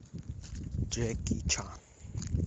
джеки чан